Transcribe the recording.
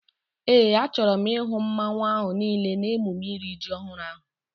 Éè, a chọrọ m ihu mmanwu ahu niile n'emume iri ji ọhụrụ ahu